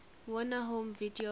warner home video